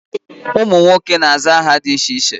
Ụmụ nwoke na-aza aha dị iche iche.